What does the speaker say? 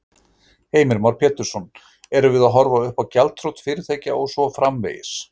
Heimir Már Pétursson: Erum við að horfa uppá gjaldþrot fyrirtækja og svo framvegis?